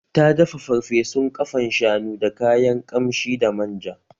Ta dafa farfesun ƙafan shanu da kayan kamshi da man ja